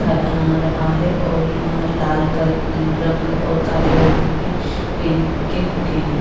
है आ रहा है और यह लाल कल अ रंग और काले रंग के पेंट के खोके है ।